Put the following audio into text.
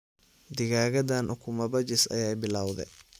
Digagtan ukuma bajis aya bilawdhe.